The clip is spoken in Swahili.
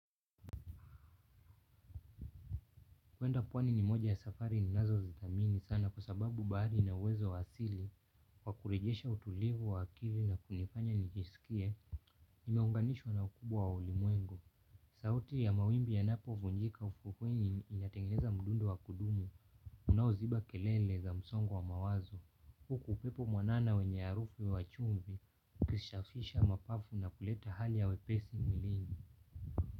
Kwenda pwani ni moja ya safari ninazo zidhamini sana kwa sababu bahari lina uwezo wa asili wa kurejesha utulivu wa akili na kunifanya nijisikie, nimeunganishwa na ukubwa wa ulimwengu. Sauti ya mawimbi yanapo vunjika ufukweni inatengeneza mdundo wa kudumu unaoziba kelele za msongo wa mawazo. Huku upepo mwanana wenye harufu wa chumvi, ukishafisha mapafu na kuleta hali ya wepesi mwilini.